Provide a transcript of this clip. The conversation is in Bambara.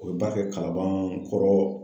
O ba be kalabankɔrɔ .